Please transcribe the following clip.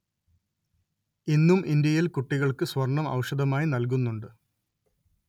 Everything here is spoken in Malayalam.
ഇന്നും ഇന്ത്യയില്‍ കുട്ടികള്‍ക്ക് സ്വര്‍ണ്ണം ഔഷധമായി നല്‍കുന്നുണ്ട്